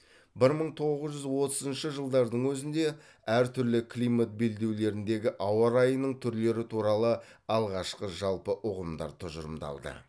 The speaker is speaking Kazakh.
бір мың тоғыз жүз отызыншы жылдардың өзінде әр түрлі климат белдеулеріндегі ауа райының түрлері туралы алғашқы жалпы ұғымдар тұжырымдалды